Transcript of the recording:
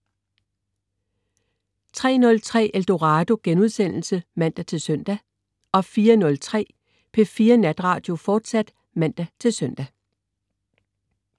03.03 Eldorado* (man-søn) 04.03 P4 Natradio, fortsat (man-søn)